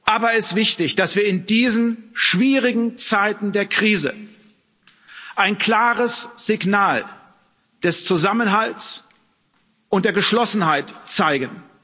Aber es ist wichtig, dass wir in diesen schwierigen Zeiten der Krise ein klares Signal des Zusammenhalts und der Geschlossenheit zeigen.